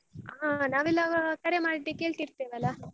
ಹಾ ನಾವೆಲ್ಲ ಕರೆ ಮಾಡಿ ಕೇಳ್ತಿರ್ತೇವಲ್ಲ.